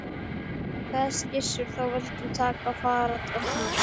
Kveðst Gissur þá vildu til fara og taka